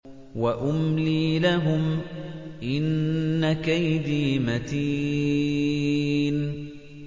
وَأُمْلِي لَهُمْ ۚ إِنَّ كَيْدِي مَتِينٌ